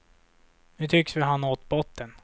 Nu tycks vi ha nått botten.